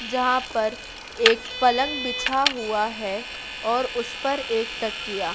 जहां पर एक पलंग बिछा हुआ है और उस पर एक तकिया।